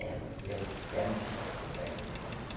É, você é um pé no saco mesmo hein.